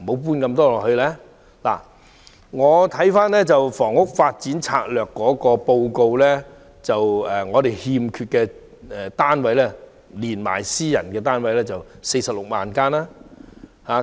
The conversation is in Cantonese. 根據《長遠房屋策略》，我們欠缺的住宅單位數目，包括私人住宅，合共46萬間。